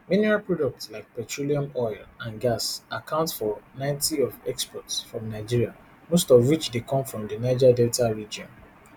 mineral products like petroleum oil and gas account for ninety of exports from nigeria most of which dey come from di niger delta region